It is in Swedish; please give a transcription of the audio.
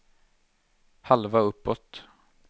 halva uppåt